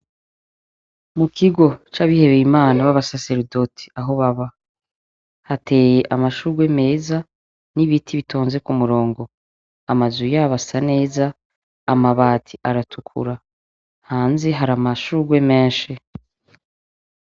Mukigo c' abihebeye imana b' abasaseredoti aho baba hateye amashugwe meza n' ibiti bitonze kumurongo amazu yabo asa neza amabati aratukura hanze hari amashugwe menshi.